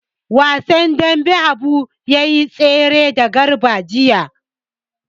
Wasan dambe Habu ya yi tare da Garba jiya.